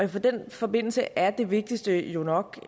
den forbindelse er det vigtigste jo nok